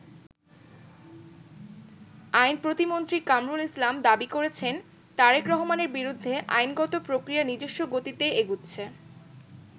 আইন প্রতিমন্ত্রী কামরুল ইসলাম দাবি করেছেন, তারেক রহমানের বিরুদ্ধে আইনগত প্রক্রিয়া নিজস্ব গতিতেই এগুচ্ছে।